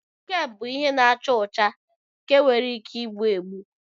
Kokine bụ ihe na-acha ọcha nke nwere ike egbu egbu.